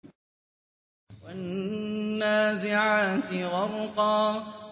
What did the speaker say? وَالنَّازِعَاتِ غَرْقًا